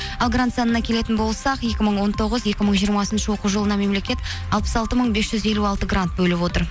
ал грант санына келетін болсақ екі мың он тоғыз екі мың жиырмасыншы оқу жылына мемлекет алпыс алты мың бес жүз елу алты грант бөліп отыр